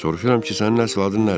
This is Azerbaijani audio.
Soruşuram ki, sənin əsl adın nədir?